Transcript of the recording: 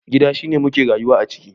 Gida shine muke rayuwa a ciki.